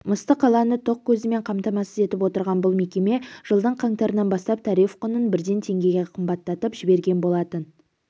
мысты қаланы тоқ көзімен қамтамасыз етіп отырған бұл мекеме жылдың қаңтарынан бастап тариф құнын бірден теңгеге қымбаттатып жіберген болатын